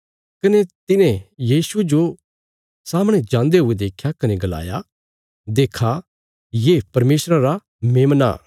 कने तिने यीशुये जो सामणे जान्दे हुये देख्या कने गलाया देक्खा ये परमेशरा रा मेमना